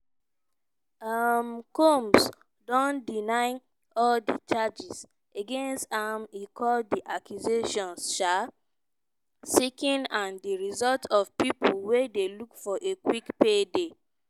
odas no go make am to court becos di time limit for filing claims don expire for certain states.